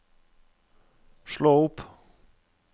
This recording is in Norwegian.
slå opp